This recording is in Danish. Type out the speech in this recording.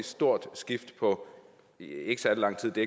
stort skift på ikke særlig lang tid det